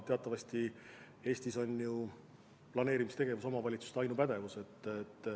Teatavasti Eestis on planeerimistegevus omavalitsuste ainupädevuses.